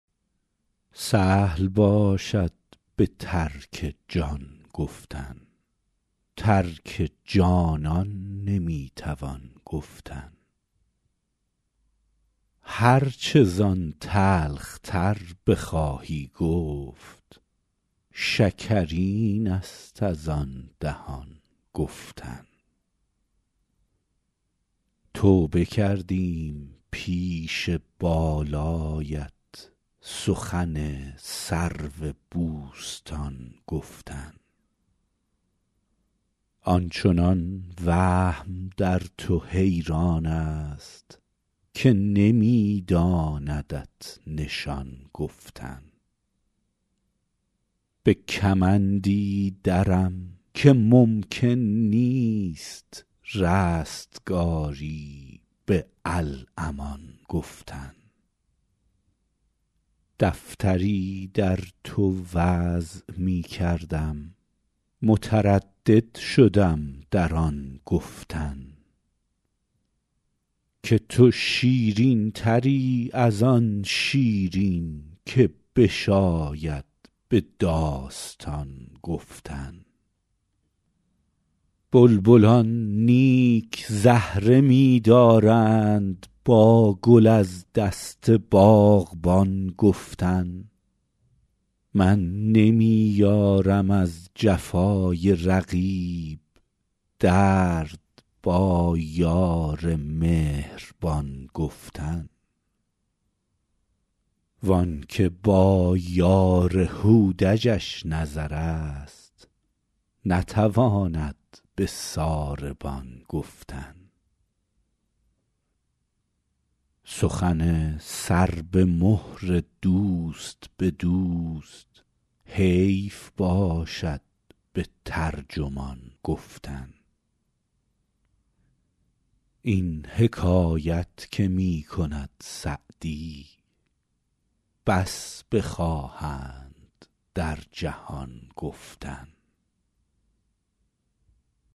سهل باشد به ترک جان گفتن ترک جانان نمی توان گفتن هر چه زان تلخ تر بخواهی گفت شکرین است از آن دهان گفتن توبه کردیم پیش بالایت سخن سرو بوستان گفتن آن چنان وهم در تو حیران است که نمی داندت نشان گفتن به کمندی درم که ممکن نیست رستگاری به الامان گفتن دفتری در تو وضع می کردم متردد شدم در آن گفتن که تو شیرین تری از آن شیرین که بشاید به داستان گفتن بلبلان نیک زهره می دارند با گل از دست باغبان گفتن من نمی یارم از جفای رقیب درد با یار مهربان گفتن وان که با یار هودجش نظر است نتواند به ساربان گفتن سخن سر به مهر دوست به دوست حیف باشد به ترجمان گفتن این حکایت که می کند سعدی بس بخواهند در جهان گفتن